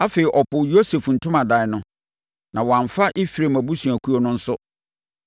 Afei ɔpoo Yosef ntomadan no, na wamfa Efraim abusuakuo no nso;